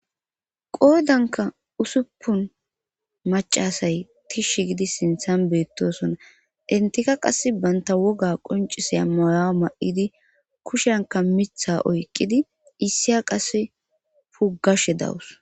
qoodanka usuppun macasay tish gidi sinthan beettosona intika qass banta woga qonciseya mayawu ma7idi kushenka mitha oyqqidi issiya qasse pugashe dawus